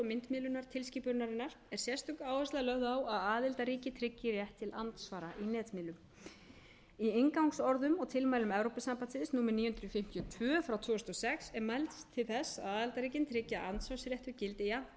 myndmiðlunartilskipunarinnar er sérstök áhersla lögð á að aðildarríki tryggi átt til andsvara í netmiðlum í inngangsorðum og tilmælum evrópusambandsins númer níu hundruð fimmtíu og tvö frá tvö þúsund og sex er mælst til þess að aðildarríkin tryggi að andsvarsréttur gildi jafnt um